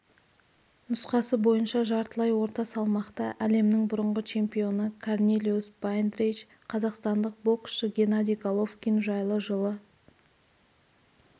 нұсқасы бойынша жартылай орта салмақта әлемнің бұрынғы чемпионы корнелиус байндрейдж қазақстандық боксшы геннадий головкин жайлы жылы